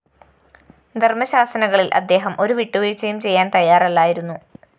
ധര്‍മ്മശാസനകളില്‍ അദ്ദേഹം ഒരു വിട്ടുവീഴ്ചയും ചെയ്യാന്‍ തയ്യാറല്ലായിരുന്നു